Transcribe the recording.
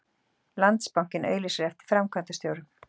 Landsbankinn auglýsir eftir framkvæmdastjórum